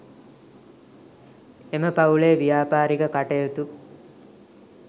එම පවුලේ ව්‍යාපාරික කටයුතු